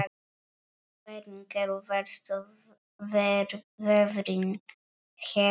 Hvernig eru verstu veðrin hérna?